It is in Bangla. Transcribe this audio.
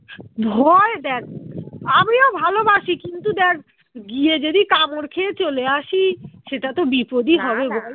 ভয় দ্যাখ আমিও ভালোবাসি কিন্তু দ্যাখ গিয়ে যদি কামড় খেয়ে চলে আসি সেটা তো বিপদ